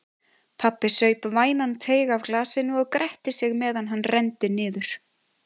Pabbi saup vænan teyg af glasinu og gretti sig meðan hann renndi niður.